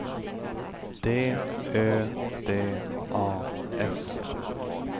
D Ö D A S